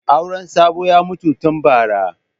Auren Sabo ya mutu tun bara.